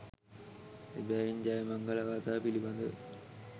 එබැවින් ජයමංගල ගාථා පිළිබඳව